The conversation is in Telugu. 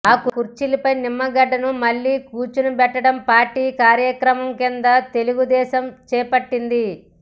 ఆ కుర్చీపై నిమ్మగడ్డను మళ్లీ కూర్చోబెట్టడం పార్టీ కార్యక్రమం కింద తెలుగుదేశం చేపట్టింది